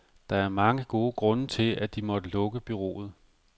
Der er mange grunde til, at de måtte lukke bureauet.